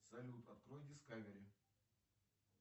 салют открой дискавери